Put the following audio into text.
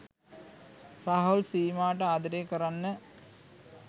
රාහුල් සීමාට ආදරේ කරන්න